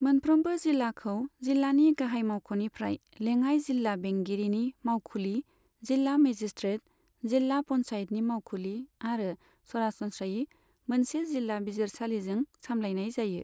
मोनफ्रोमबो जिल्लाखौ जिल्लानि गाहाय मावख'निफ्राय लेङाइ जिल्ला बेंगिरिनि मावखुलि, जिल्ला मेजिस्ट्रेट, जिल्ला पन्चायतनि मावखुलि आरो सरासनस्रायै मोनसे जिल्ला बिजिरसालिजों सामलायनाय जायो।